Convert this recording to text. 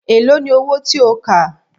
Èló ni owó tí ó kà?